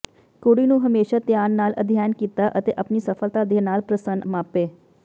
ਕੁੜੀ ਨੂੰ ਹਮੇਸ਼ਾ ਧਿਆਨ ਨਾਲ ਅਧਿਐਨ ਕੀਤਾ ਅਤੇ ਆਪਣੀ ਸਫ਼ਲਤਾ ਦੇ ਨਾਲ ਪ੍ਰਸੰਨ ਮਾਪੇ